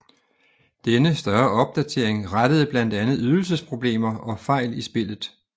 Denne større opdatering rettede blandt andet ydelsesproblemer og fejl i spillet